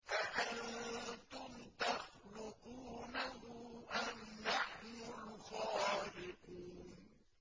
أَأَنتُمْ تَخْلُقُونَهُ أَمْ نَحْنُ الْخَالِقُونَ